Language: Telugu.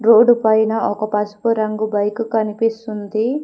రోడ్డు పైన ఒక పసుపు రంగు బైకు కనిపిస్తుంది.